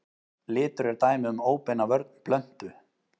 Litur er dæmi um óbeina vörn plöntu.